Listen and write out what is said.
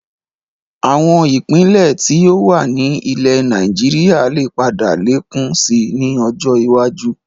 Àwọn Ìpínlẹ̀ tí ó wà ní ilẹ̀ Nàìjíríà lè padà lékún síí ni ọjọ́ iwájú